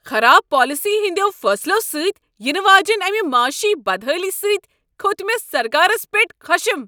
خراب پالیسی ہٕنٛدیو فیصلو سۭتۍ ینہٕ واجنہ امہ معٲشی بدحٲلی سۭتۍ کھوٚت مےٚ سرکارس پیٹھ خشم۔